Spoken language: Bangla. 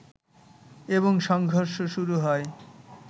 এবং সংঘর্ষ শুরু হয়